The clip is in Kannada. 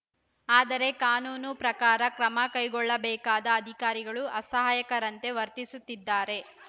ಆದರೆ ಕಾನೂನು ಪ್ರಕಾರ ಕ್ರಮ ಕೈಗೊಳ್ಳಬೇಕಾದ ಅಧಿಕಾರಿಗಳೂ ಅಸಹಾಯಕರಂತೆ ವರ್ತಿಸುತ್ತಿದ್ದಾರೆ